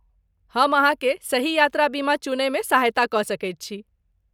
हम अहाँकेँ सही यात्रा बीमा चुनयमे सहायता कऽ सकैत छी।